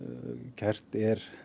kært er